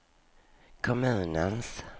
kommunens